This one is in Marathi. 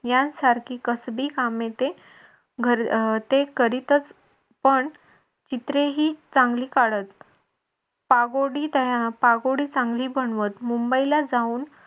यांसारखी कसबी कामे ते ते करीतच पण चित्रे ही चांगली काढत. पागोडी चांगली बनवत. मुंबई ला जाऊन